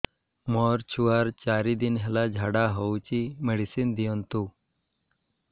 ମୋର ଛୁଆର ଚାରି ଦିନ ହେଲା ଝାଡା ହଉଚି ମେଡିସିନ ଦିଅନ୍ତୁ